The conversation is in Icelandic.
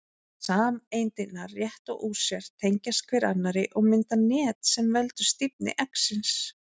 Sameindirnar rétta úr sér, tengjast hver annarri og mynda net sem veldur stífni eggsins.